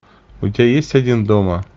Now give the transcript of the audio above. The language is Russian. у тебя есть один дома